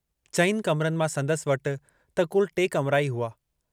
चइनि कमरनि मां संदसि वटि त कुल टे कमरा ई हुआ।